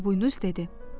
Xırdaboynuz dedi.